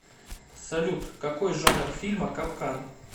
салют какой жанр фильма капкан